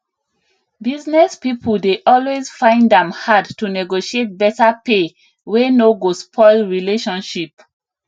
business people dey always find am hard to negotiate beta pay wey no go spoil relationship